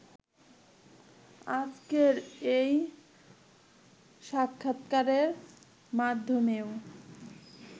আজকের এই সাক্ষাৎকারের মাধ্যমেও